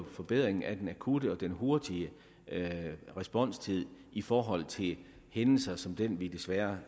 forbedringen af den akutte og den hurtige responstid i forhold til hændelser som den vi desværre